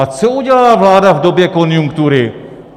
A co udělala vláda v době konjunktury?